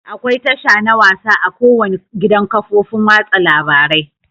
Akwai tasha na wasa a ko wani gidan kafofin watsa labarai.